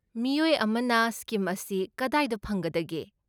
ꯃꯤꯑꯣꯏ ꯑꯃꯅ ꯁ꯭ꯀꯤꯝ ꯑꯁꯤ ꯀꯗꯥꯏꯗ ꯐꯪꯒꯗꯒꯦ?